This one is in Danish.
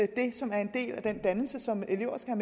det som er en del af den dannelse som elever skal